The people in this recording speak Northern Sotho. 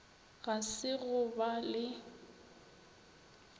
ga se go ba le